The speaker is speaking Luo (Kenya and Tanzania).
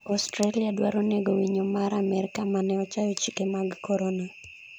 Australia dwaro nego winyo mar amerka mane ochayo chike mag korona